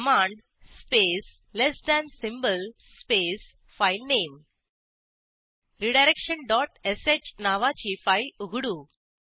command space less than symbol space filename redirection dot sh नावाची file उघडू